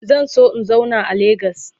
Zan so in zauna a lagos.